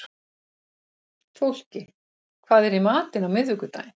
Fólki, hvað er í matinn á miðvikudaginn?